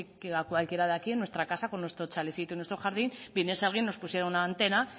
si a cualquiera de aquí en nuestra casa con nuestro chalecito y nuestro jardín viniese alguien nos pusiera una antena